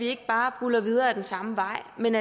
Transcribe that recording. ikke bare buldrer videre ad den samme vej men